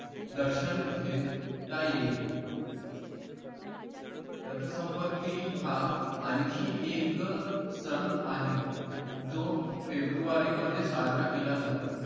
दर्शन घेता येईल रथ संपत्ती हा आनखी एक सन आहे जो फेब्रुवारीमध्ये साजरा केला जातो